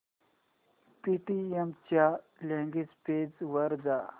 Paytm च्या login page वर जा